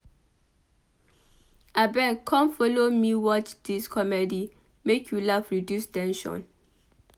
Abeg come folo me watch dis comedy make you laugh reduce ten sion.